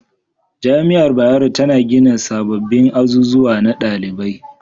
Jami'ar bayero ta gina sababbin azuzuwa na dalibai